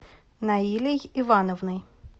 наилей ивановной